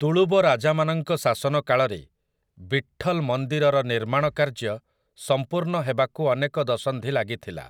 ତୁଳୁବ ରାଜାମାନଙ୍କ ଶାସନକାଳରେ, ବିଟ୍ଠଲ ମନ୍ଦିରର ନିର୍ମାଣ କାର୍ଯ୍ୟ ସମ୍ପୂର୍ଣ୍ଣ ହେବାକୁ ଅନେକ ଦଶନ୍ଧି ଲାଗିଥିଲା ।